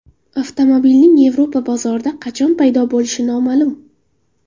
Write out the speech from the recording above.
Avtomobilning Yevropa bozorida qachon paydo bo‘lishi noma’lum.